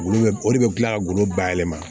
Golo be o de be kila ka golo bayɛlɛma